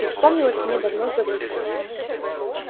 и вспомнилось мне давно забытое